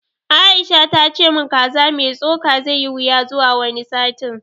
Aisha ta ce mun kaza mai tsoka zai yi wuya zuwa wani satin